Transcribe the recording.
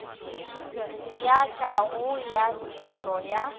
ya kago ya dintlo ya